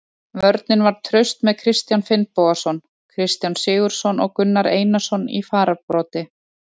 Vörnin var traust með Kristján Finnbogason, Kristján Sigurðsson og Gunnar Einarsson í fararbroddi.